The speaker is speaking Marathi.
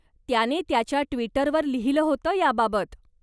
त्याने त्याच्या ट्विटरवर लिहिलं होतं याबाबत.